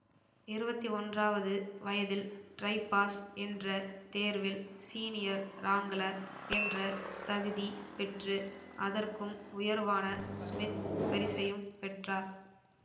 இருவத்தி ஒன்றாவது வயதில் ட்ரைபாஸ் என்ற தேர்வில் ஸீனியர் ராங்க்ளர் என்ற தகுதி பெற்று அதற்கும் உயர்வான ஸ்மித் பரிசையும் பெற்றார்